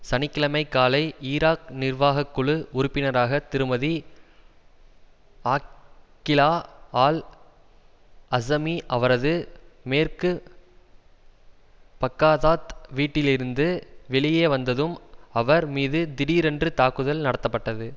சனி கிழமை காலை ஈராக் நிர்வாக குழு உறுப்பினராக திருமதி ஆக்கிலா ஆல் அசிமி அவரது மேற்கு பாக்காதாத் வீட்டிலிருந்து வெளியே வந்ததும் அவர் மீது திடீரென்று தாக்குதல் நடத்தப்பட்டது